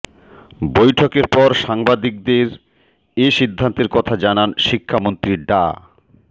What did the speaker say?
বৈঠকের পর সাংবাদিকদের এ সিদ্ধান্তের কথা জানান শিক্ষামন্ত্রী ডা